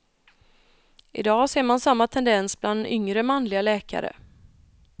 Idag ser man samma tendens bland yngre manliga läkare.